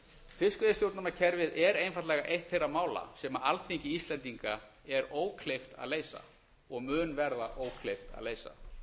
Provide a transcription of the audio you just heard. fiskveiðistjórnarkerfið er einfaldlega eitt þeirra mála sem alþingi íslendinga er ókleift að leysa og mun verða ókleift að leysa